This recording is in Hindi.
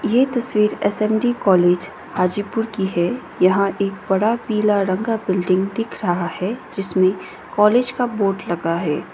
ये तस्वीर एस_एम_डी कॉलेज हाजीपुर की है यहां एक बड़ा पीला रंग का बिल्डिंग दिख रहा है जिसमें कॉलेज का बोर्ड लगा है।